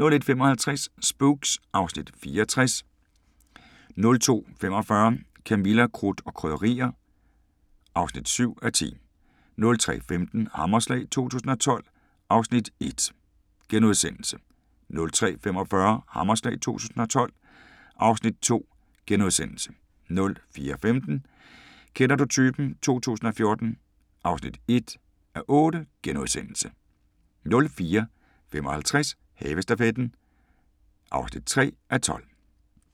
01:55: Spooks (Afs. 64) 02:45: Camilla – Krudt og Krydderier (7:10) 03:15: Hammerslag 2012 (Afs. 1)* 03:45: Hammerslag 2012 (Afs. 2)* 04:15: Kender du typen 2014 (1:8)* 04:55: Havestafetten (3:12)